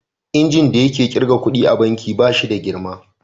Injin da yake kirga ƙuɗi a banki ba shi da girma.